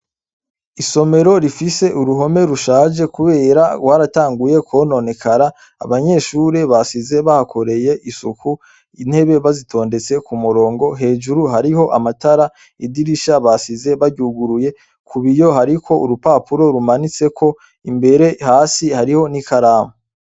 Isomero rifise uruhome rushaje kubera rwaratanguye kwononekara, abanyeshure basize bahakoze isuku intebe bazitondetse ku murongo, hejuru hariho amatara, idirisha basize baryugurure, ku biyo hariko urupapuro rumanitseko, imbere hasi hariho n'ikaramu.